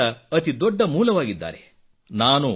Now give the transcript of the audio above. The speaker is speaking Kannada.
ಸ್ಫೂರ್ತಿಯ ಅತಿದೊಡ್ಡ ಮೂಲವಾಗಿದ್ದಾರೆ